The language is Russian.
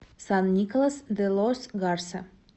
сан николас де лос гарса